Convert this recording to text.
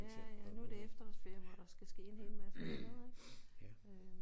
Ja ja nu er det efterårsferie hvor der skal ske en hel masse andet ik